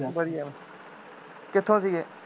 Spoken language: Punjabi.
ਵਧੀਆਂ ਕਿੱਥੋ ਸੀਗੇ